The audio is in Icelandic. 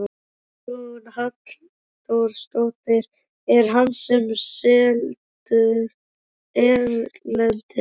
Hugrún Halldórsdóttir: Er hann seldur erlendis?